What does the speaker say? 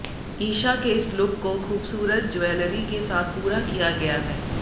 ईशा के इस लुक को खूबसूरत ज्वैलरी के साथ पूरा किया गया है